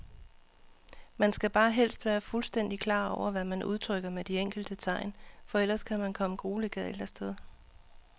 Man skal bare helst være fuldstændigt klar over, hvad man udtrykker med de enkelte tegn, for ellers kan man komme grueligt galt af sted.